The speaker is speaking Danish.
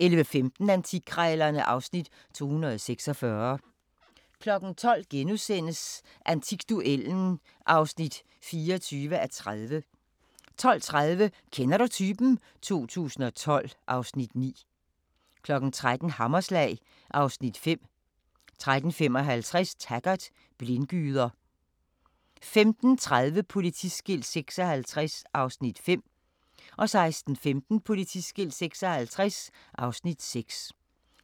11:15: Antikkrejlerne (Afs. 246) 12:00: Antikduellen (24:30)* 12:30: Kender du typen? 2012 (Afs. 9) 13:00: Hammerslag (Afs. 5) 13:55: Taggart: Blindgyder 15:30: Politiskilt 56 (Afs. 5) 16:15: Politiskilt 56 (Afs. 6)